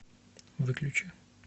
выключи